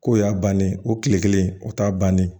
K'o y'a bannen o tile kelen o t'a bannen ye